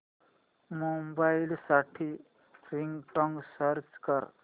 mobile साठी ringtone search कर